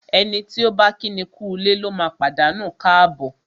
Ẹni tí ọ̀ bá kíni kúulé lóma pàdánù káàbọ̀.